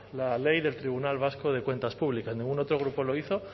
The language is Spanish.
la ley del tribunal vasco de cuentas públicas ningún otro grupo lo hizo